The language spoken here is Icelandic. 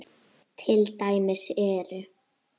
Til dæmis eru